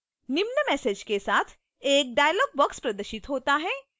निम्न message के साथ एक dialog box प्रदर्शित होता है: